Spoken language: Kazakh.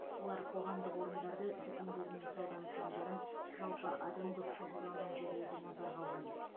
олар қоғамдық орындарды дүкендер мен сауда нысандарын жалпы адам көп шоғырланған жерлерді назарға алған